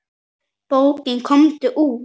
Bókin Komdu út!